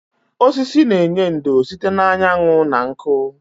Osisi na-enye ndò site na anyanwụ na nkụ.